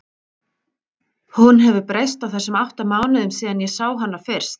Hún hefur breyst á þessum átta mánuðum síðan ég sá hana fyrst.